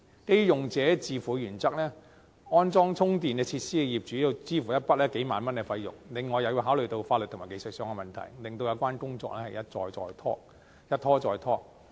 基於用者自付的原則，安裝充電設施的業主要支付一筆數萬元費用，另外也要考慮法律和技術上的問題，令有關工作一拖再拖。